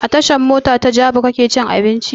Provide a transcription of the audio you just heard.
A tashan mota ta jabi kake cin abinci?